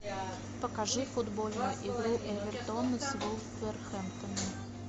покажи футбольную игру эвертона с вулверхэмптоном